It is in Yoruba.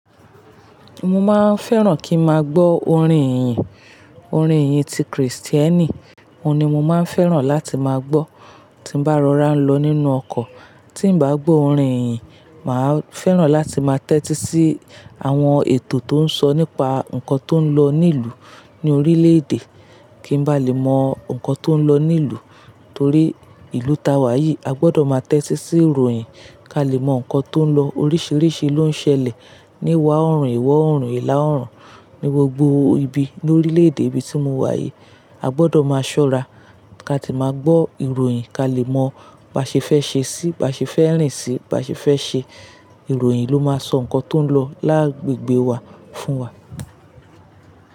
Mo máa ń fẹ́ràn kí n máa gbọ́ orin ìyìn, orin ìyìn ti Kristẹni, òun ni mo máa ń fẹ́ràn láti máa gbọ́ tí bá rọra lọ nínú ọkọ̀, tí bá gbọ́ orin ìyìn, màá fẹ́ràn láti máa tẹ́tí sí àwọn ètò tó ń sọ nípa nǹkan tó ń lọ ní ìlú ní orílẹ̀ èdè, kí n bá lè mọ nǹkan tó ń lọ ní ìlú. Torí ìlú ta wà yìí, a gbọdọ̀ máa tẹ́tí sí ìròyìn kí a lè mọ nǹkan tó ń lọ, oríṣiríṣi ló ń ṣẹlẹ̀, níwà oòrùn, iwọ̀ oòrùn, ìlà oòrùn, ní gbogbo ibi ní orílẹ̀ èdè ibi tí mo wà yìí, a gbọdọ̀ máa ṣọ́ra kí a tí máa gbọ́ ìròyìn kí a lè mọ bàṣẹ fẹ́ ṣe sí, bàṣẹ fẹ́ rìn sí, bàṣẹ fẹ́ ṣe, ìròyìn ló máa sọ nǹkan tó ń lọ láàgbègbè wa fún wa.